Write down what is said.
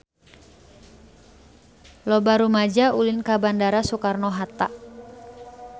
Loba rumaja ulin ka Bandara Soekarno Hatta